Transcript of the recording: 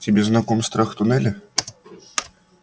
тебе знаком страх туннеля